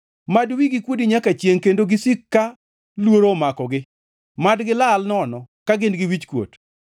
Mad wigi kuodi nyaka chiengʼ kendo gisiki ka luoro omakogi; mad gilal nono ka gin gi wichkuot.